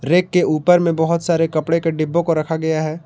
Rack के ऊपर में बहुत सारे कपड़े के डिब्बों को रखा गया है।